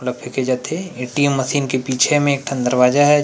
कूड़ा फेके जात थे ए टी एम मशीन के पीछे में एक ठन दरवाजा ह।